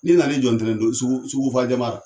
N'i nan'i jɔ ntɛnɛn don sugufa jamara